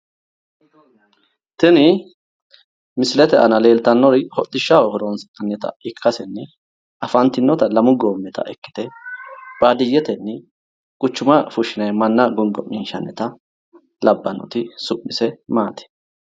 Tini misilete aana leeltanno hodhishshaho horonsi'nannita ikkasenni afantinnota lamu goommita ikkite baadiyyetenni quchuma fushshinayi manna gongo'minshshannita labbannoti su'mise maati?